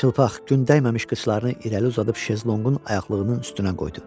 Çılpaq, gün dəyməmiş qıçlarını irəli uzadıb şezlonqun ayaqlığının üstünə qoydu.